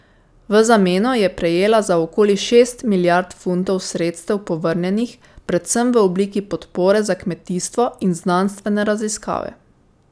V zameno je prejela za okoli šest milijard funtov sredstev povrnjenih, predvsem v obliki podpore za kmetijstvo in znanstvene raziskave.